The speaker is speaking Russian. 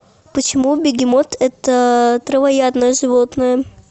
почему бегемот это травоядное животное